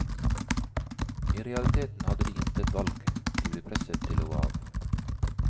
I realiteten hadde de intet valg, de ble presset til å gå av.